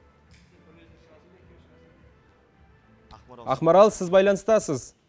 ақмарал сіз байланыстасыз